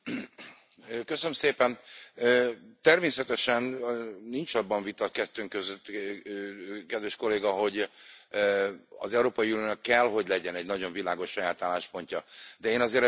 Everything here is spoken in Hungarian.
Természetesen nincs abban vita kettőnk között, kedves Kolléga, hogy az Európai Uniónak kell, hogy legyen egy nagyon világos saját álláspontja, de én azért ebből nem szakítanám ki az amerikai kontextust.